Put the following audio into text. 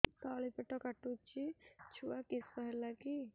ତଳିପେଟ କାଟୁଚି ଛୁଆ କିଶ ହେଲା କି